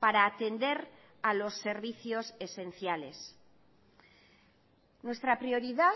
para atender a los servicios esenciales nuestra prioridad